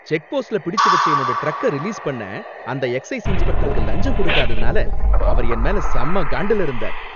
செக்போஸ்ட்ல பிடிச்சு வைச்ச என்னோட ட்ரக்க ரிலீஸ் பண்ண அந்த எக்சைஸ் இன்ஸ்பெக்டருக்கு லஞ்சம் கொடுக்காததனால அவர் என்மேல செம்ம காண்டுல இருந்தார்.